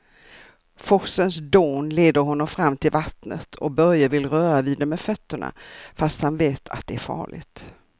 Forsens dån leder honom fram till vattnet och Börje vill röra vid det med fötterna, fast han vet att det är farligt.